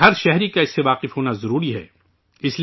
اس لئے ، ہر شہری کو کو اس سےمانوس ہونا ضروری ہے